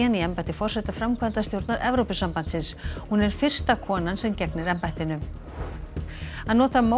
í embætti forseta framkvæmdastjórnar Evrópusambandsins hún er fyrsta konan sem gegnir embættinu að nota